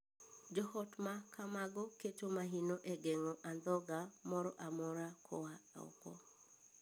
Joot ma kamago keto maino e geng'o andhoga moro amora koa oko.